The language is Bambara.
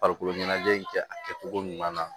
Farikolo ɲɛnajɛ in kɛ a kɛcogo ɲuman na